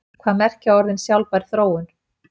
Hvað merkja orðin sjálfbær þróun?